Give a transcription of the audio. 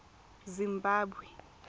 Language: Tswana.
zimbabwe